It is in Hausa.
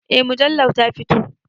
Eh mujallar ta fito.